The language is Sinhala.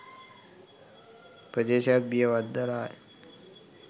ප්‍රදේශයත් බිය වද්දලාය.